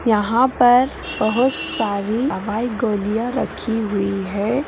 यहाँ पर बहुत सारी दवाई गोलियां रखी हुई हैं।